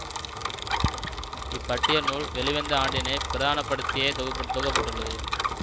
இப்பட்டியல் நூல் வெளிவந்த ஆண்டினை பிரதான படுத்தியே தொகு தொகுக்க பட்டுள்ளது